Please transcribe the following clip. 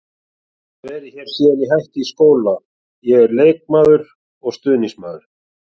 Ég hef verið hér síðan ég hætti í skóla, ég er leikmaður og stuðningsmaður.